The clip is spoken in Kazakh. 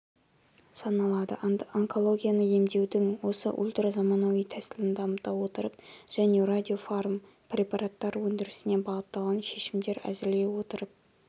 саналады онкологияны емдеудің осы ультразаманауи тәсілін дамыта отырып және радиофармпрепараттар өндірісіне бағытталған шешімдер әзірлей отырып